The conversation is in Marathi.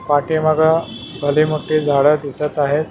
पाठीमागं भले मोठे झाडं दिसत आहेत.